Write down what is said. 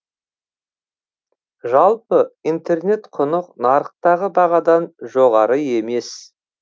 жалпы интернет құны нарықтағы бағадан жоғары емес